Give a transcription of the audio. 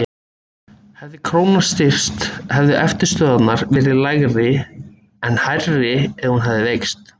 Hefði krónan styrkst hefðu eftirstöðvarnar verið lægri en hærri hefði hún veikst.